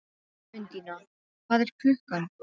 Undína, hvað er klukkan?